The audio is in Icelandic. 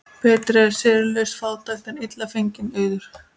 Betri er seyrulaus fátækt en illa fenginn auður.